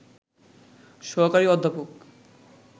সহকারী অধ্যাপক